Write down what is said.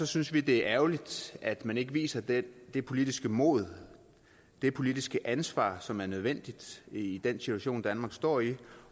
synes vi det er ærgerligt at man ikke viser det det politiske mod det politiske ansvar som er nødvendigt i den situation danmark står i